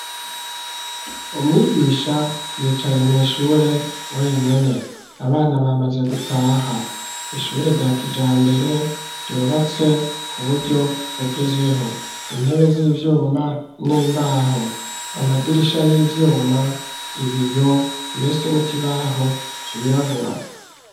Umwigisha yicaye mw'ishure wenyene; abana bamaze gutaha, ishure rya kijambere, ryubatse ku buryo bugezweho; intebe z'ivyuma n'imbaho, amadirisha y'ivyuma, ibiyo, mbese n'ikibaho cirabura.